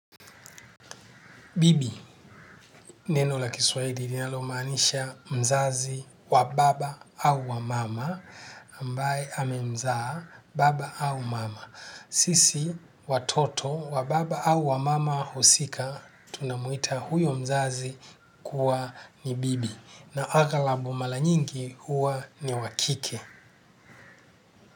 Bibi, neno la kiswahili linalo maanisha mzazi wa baba au wa mama, ambaye amemzaa baba au mama. Sisi, watoto, wa baba au wa mama husika, tunamuita huyo mzazi kuwa ni bibi. Na agalabu mala nyingi huwa ni wa kike.